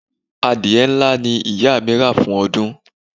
Adìẹ ńlá ni ìyá mi rà fún ọdún.